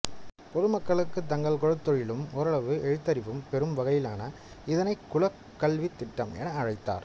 பொதுமக்களுக்கு தங்கள் குலத் தொழிலும் ஓரளவு எழுத்தறிவும் பெறும் வகையிலான இதனைக் குலக் கல்வித் திட்டம் என அழைத்தார்